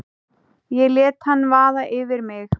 Ég lét hann vaða yfir mig.